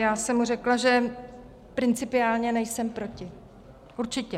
Já jsem mu řekla, že principiálně nejsem proti, určitě.